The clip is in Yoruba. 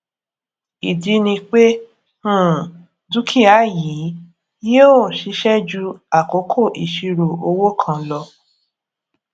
ìdí ni pé um dúkìá yìí yìó ṣiṣé ju àkókò ìṣirò owó kan lo